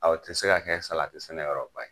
Awɔ, o tɛ se ka kɛ salati sɛnɛ yɔrɔ ba ye.